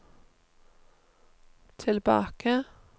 tilbake